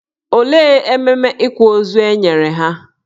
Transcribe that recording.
Olee ememe ịkwa ozu e nyere ya?